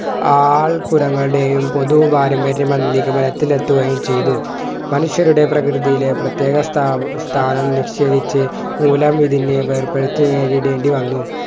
all ഗുണകളുടെയും പൊതു പാരമ്പര്യം മല്ലി നിഗമത്തിൽ എത്തുകയും ചെയ്‌തു മനുഷ്യരുടെ പ്രകൃതിയിലെ പ്രത്യേക സ്ഥാ സ്ഥാനം ലക്ഷ്യം വെച്ച് മൂലം ഇതിനെ വേർപെടുത്തി നേരിടേണ്ടി വന്നു